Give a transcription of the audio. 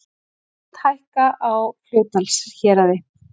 Gjöld hækka á Fljótsdalshéraði